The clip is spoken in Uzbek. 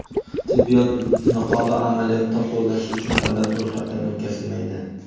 tibbiyot niqobi amaliyotda qo‘llash uchun davlat ro‘yxatidan o‘tkazilmaydi.